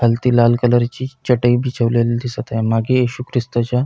खालती लाल कलर ची चटय बिछवलेली दिसत आहे मागे येशू ख्रिस्ताच्या --